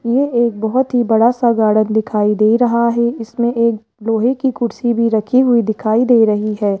ये एक बहोत ही बड़ा सा गार्डन दिखाई दे रहा है इसमें एक लोहे की कुर्सी भी रखी हुई दिखाई दे रही है।